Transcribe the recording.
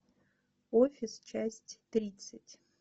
офис часть тридцать